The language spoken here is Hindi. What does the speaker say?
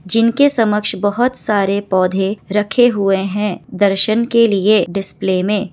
जिनके समक्ष बहुत सारे पौधे रखे हुए हैं। दर्शन के लिए डिस्प्ले में--